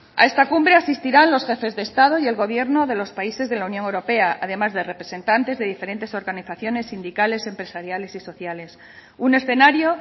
a esta cumbre asistirán los jefes de estado y el gobierno de los países de la unión europea además de representantes de diferentes organizaciones sindicales empresariales y sociales un escenario